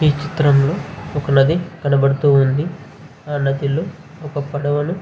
ఈ చిత్రంలో ఒక నది కనపడుతూ ఉంది. ఆ నదిలో ఒక పడవను --